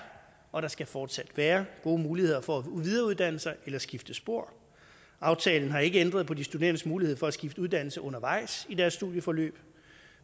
og skal fortsat være gode muligheder for at videreuddanne sig eller skifte spor aftalen har ikke ændret på de studerendes mulighed for at skifte uddannelse undervejs i deres studieforløb